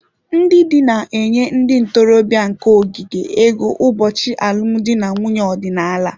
Ndị di na-enye ndị ntorobịa nke ogige ego ụbọchị alụmdi na nwunye ọdịnala